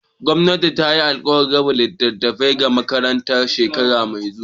Gwamnati tayi alkawarin raba littafai ga makarantu shekara mai zuwa.